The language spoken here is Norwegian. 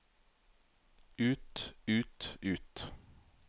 ut ut ut